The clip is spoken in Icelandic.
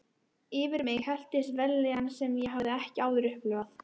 Yfir mig helltist vellíðan sem ég hafði ekki áður upplifað.